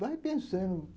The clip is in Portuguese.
Vai pensando.